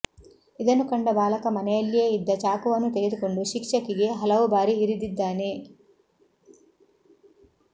ಇದನ್ನು ಕಂಡ ಬಾಲಕ ಮನೆಯಲ್ಲಿಯೇ ಇದ್ದ ಚಾಕುವನ್ನು ತೆಗೆದುಕೊಂಡು ಶಿಕ್ಷಕಿಗೆ ಹಲವು ಬಾರಿ ಇರಿದಿದ್ದಾನೆ